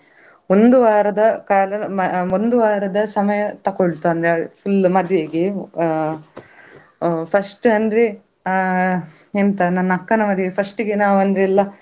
ಒಂದು ವಾರದ ಕಾಲ ಅಹ್ ಒಂದು ವಾರದ ಸಮಯ ತಕೊಳ್ತು ಅಂದ್ರೆ full ಮದುವೆಗೆ ಅಹ್ ಅಹ್ first ಅಂದ್ರೆ ಅಹ್ ಎಂತ ನನ್ನ ಅಕ್ಕನ ಮದುವೆಗೆ first ಗೆ ನಾವ್ ಅಂದ್ರೆ ಎಲ್ಲ.